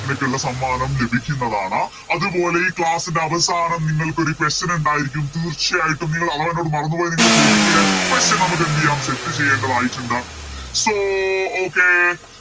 നിനക്കുള്ള സമ്മാനം ലഭിക്കുന്നതാണ് അതുപോലെ ഈ Class ൻറെ അവസാനം നിങ്ങൾക്കൊരു Question ഇണ്ടായിരിക്കും തീർച്ചയായിട്ടും നിങ്ങള് അഥവാ എന്നോട് മറന്നോയ നിങ്ങള് ചോദിക്കൂലേ Question നമുക്ക് എന്തെയ്യാം Set ചെയ്യേണ്ടതായിറ്റുണ്ട് So okay